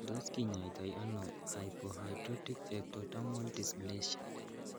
Tos kinyaita ono hypohidrotic ectodermal dysplasia?